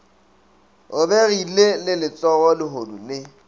robegile le letsogo lehodu le